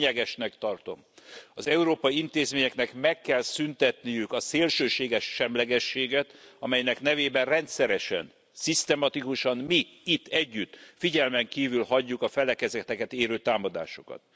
Lényegesnek tartom, az európai intézményeknek meg kell szüntetniük a szélsőséges semlegességet, amelynek nevében rendszeresen, szisztematikusan, mi itt együtt figyelmen kívül hagyjuk a felekezeteket érő támadásokat.